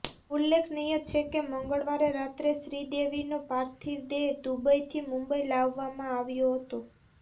ઉલ્લેખનીય છે કે મંગળવારે રાતે શ્રીદેવીનો પાર્થિવ દેહ દુબઈથી મુંબઈ લાવવામાં આવ્યો હતો